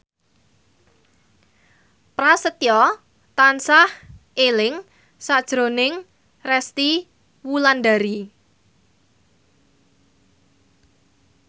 Prasetyo tansah eling sakjroning Resty Wulandari